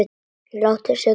Láttu Sigga bróður batna.